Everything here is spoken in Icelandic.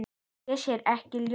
Ég sé ekkert ljós.